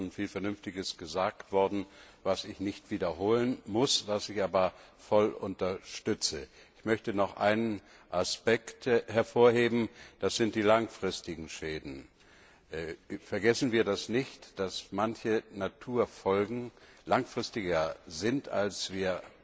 Dazu ist schon viel Vernünftiges gesagt worden, was ich nicht wiederholen muss, was ich aber voll unterstütze. Ich möchte noch einen Aspekt hervorheben Das sind die langfristigen Schäden. Vergessen wir nicht, dass manche Folgen für die Natur langfristiger sind, als wir